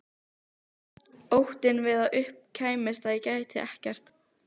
Óttinn við að upp kæmist að ég gæti ekkert.